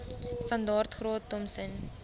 standaard graad thompson